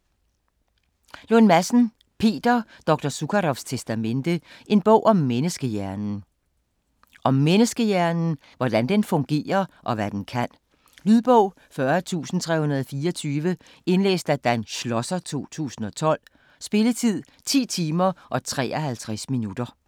Lund Madsen, Peter: Dr. Zukaroffs testamente: en bog om menneskehjernen Om menneskehjernen. Hvordan den fungerer og hvad den kan. Lydbog 40324 Indlæst af Dan Schlosser, 2012. Spilletid: 10 timer, 53 minutter.